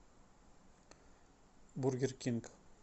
бургер кинг